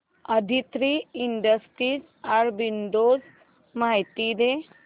Aditri Industries arbitrage माहिती दे